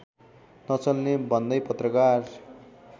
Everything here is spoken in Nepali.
नचल्ने भन्दै पत्रकार